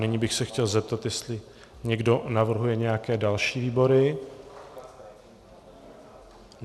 Nyní bych se chtěl zeptat, jestli někdo navrhuje nějaké další výbory.